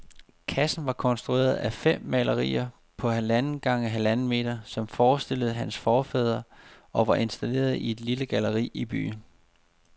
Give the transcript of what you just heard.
Kassen var konstrueret af fem malerier på halvanden gange halvanden meter, som forestillede hans forfædre og var installeret i et lille galleri i byen.